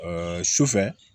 sufɛ